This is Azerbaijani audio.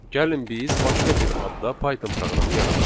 Gəlin biz başqa bir adda Python proqramı yaradaq.